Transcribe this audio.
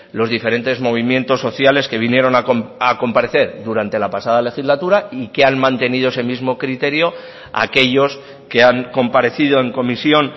los diferentes movimientos sociales que vinieron a comparecer durante la pasada legislatura y que han mantenido ese mismo criterio aquellos que han comparecido en comisión